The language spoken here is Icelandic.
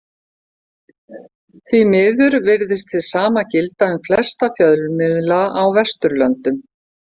Því miður virðist hið sama gilda um flesta fjölmiðla á Vesturlöndum.